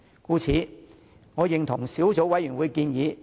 故此，我贊同小組委員會的建議。